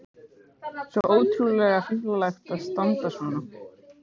Svo ótrúlega fíflalegt að standa svona.